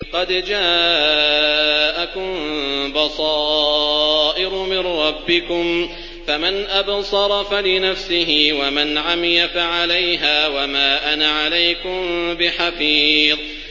قَدْ جَاءَكُم بَصَائِرُ مِن رَّبِّكُمْ ۖ فَمَنْ أَبْصَرَ فَلِنَفْسِهِ ۖ وَمَنْ عَمِيَ فَعَلَيْهَا ۚ وَمَا أَنَا عَلَيْكُم بِحَفِيظٍ